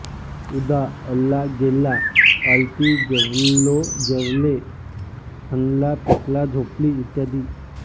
उदा अल्ला गेल्ला अल्ती जेव्लो जेव्ल्ये हन्ला फेक्ला झोप्ली इत्यादी